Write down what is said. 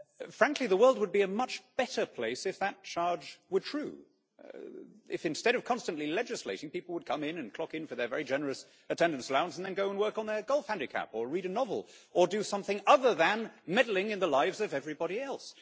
Frankly, the world would be a much better place if that charge were true if, instead of constantly legislating, people would come in, and clock in for their very generous attendance allowance, and then go and work on their golf handicap or read a novel, or do something other than meddling in the lives of everybody else.